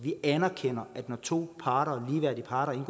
vi anerkender at når to parter ligeværdige parter